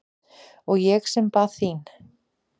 Og ég sem bað þín!